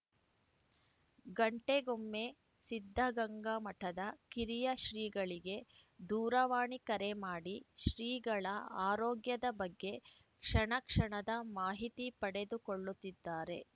ಗಂಟೆಗೊಮ್ಮೆ ಸಿದ್ಧಗಂಗಾ ಮಠದ ಕಿರಿಯ ಶ್ರೀಗಳಿಗೆ ದೂರವಾಣಿ ಕರೆ ಮಾಡಿ ಶ್ರೀಗಳ ಆರೋಗ್ಯದ ಬಗ್ಗೆ ಕ್ಷಣಕ್ಷಣದ ಮಾಹಿತಿ ಪಡೆದುಕೊಳ್ಳುತ್ತಿದ್ದಾರೆ